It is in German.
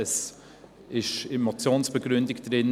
Es ist in der Motionsbegründung enthalten: